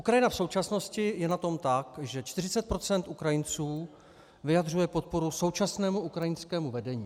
Ukrajina v současnosti je na tom tak, že 40 % Ukrajinců vyjadřuje podporu současnému ukrajinskému vedení.